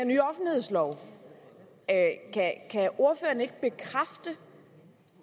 ny offentlighedslov kan ordføreren ikke bekræfte